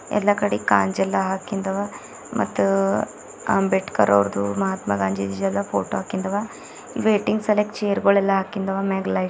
ಎಲ್ಲಾ ಕಡೆ ಕಾಂಜ ಎಲ್ಲಾ ಹಾಕಿಂದ ಅವ ಮತ್ತ ಅ ಅಂಬೇಡ್ಕರ್ ಅವರದು ಮಹಾತ್ಮ ಗಾಂಧೀಜಿ ಎಲ್ಲಾ ಫೋಟೋ ಹಾಕಿಂದ ಅವ ವೇಟಿಂಗ್ ಸಲಾಕ್ ಚೇರ್ ಗೋಳ ಎಲ್ಲಾ ಹಾಕಿಂದ ಅವ ಮ್ಯಾಗ ಲೈಟ್ --